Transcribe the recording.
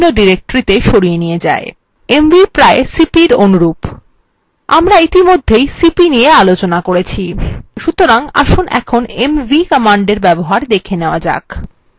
mv প্রায় cp এর অনুরূপ আমরা ইতিমধ্যে cp নিয়ে আলোচনা করেছি সুতরাং আসুন কিভাবে mv কমান্ডের ব্যবহার দেখে নেওয়া যাক